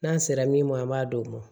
N'an sera min ma an b'a d'o ma